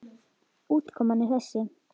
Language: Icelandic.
Útkoman er þessi.